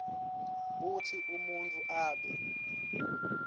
kutsi umuntfu abe